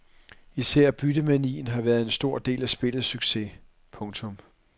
Især byttemanien har været en stor del af spillets succes. punktum